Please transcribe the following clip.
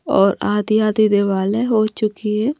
और आधी-आधी दीवाल हैहो चुकी है।